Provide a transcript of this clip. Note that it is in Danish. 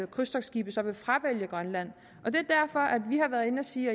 krydstogtskibe så vil fravælge grønland og det er derfor at vi har været inde at sige